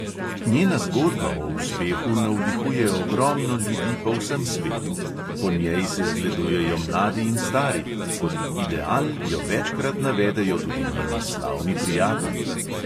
Njena zgodba o uspehu navdihuje ogromno ljudi po vsem svetu, po njej se zgledujejo mladi in stari, kot ideal jo večkrat navedejo tudi njeni slavni prijatelji.